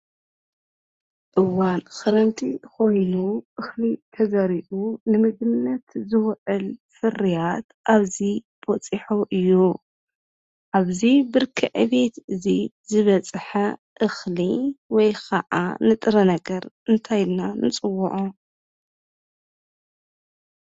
እዋን ከረምቲ ኮይኑ እኽሊ ተዘሪኡ ንምግብነት ዝውዕል ፍርያት አብዚ በፂሑ እዩ። ኣብዚ ብርኪ ዕቤት እዚ ዝበፀሐ እኽሊ ወይ ካዓ ንጥረ ነገር እንታይ ኢልና ንፅውዖ?